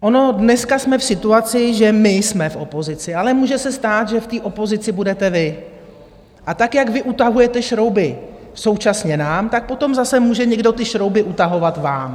Dneska jsme v situaci, že my jsme v opozici, ale může se stát, že v té opozici budete vy, a tak, jak vy utahujete šrouby současně nám, tak potom zase může někdo ty šrouby utahovat vám.